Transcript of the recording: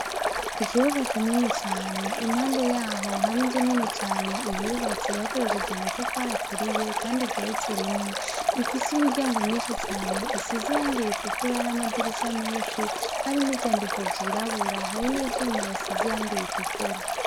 Ikibuga kinini cane, impande yaho hari inzu nini cane yubatse hakoresheje amatafari aturiye kandi igeretse rimwe. Ifise imiryango myinshi cane isize irangi ritukura n'amadirisha menshi hari n'ivyandiko vyirabura hari n'ivyuma bisize irangi ritukura.